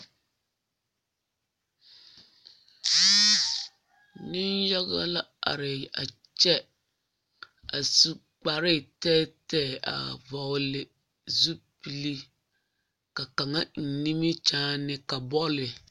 Yiri poɔ la ka dakogi somɔmɔ toŋ tu taa a e peɛle ka kaboard a biŋ ka gama eŋɛ a kaboard te zu ka kobilii paraa a tabol zu